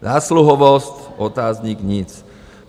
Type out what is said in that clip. Zásluhovost - otazník - nic.